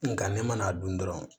Nga ne mana dun dɔrɔn